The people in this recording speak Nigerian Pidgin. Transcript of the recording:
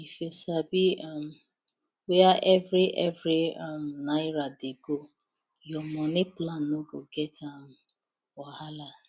if you sabi um where every every um naira dey go your money plan no go get um wahala